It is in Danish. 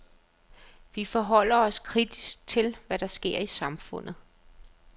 Vi forholder os kritisk til, hvad der sker i samfundet.